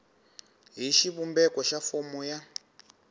hi xivumbeko xa fomo ya